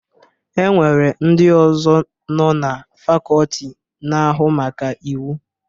E nwere ndị ọzọ nọ na fakọọti na-ahụ maka Iwu.